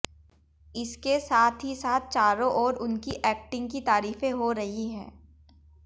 इसके साथ ही साथ चारों ओर उनकी एक्टिंग की तारीफें हो रही है